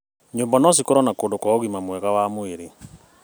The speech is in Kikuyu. Nyũmba no cikorwo na kũndũ kwa ũgima mwega wa mwĩrĩ.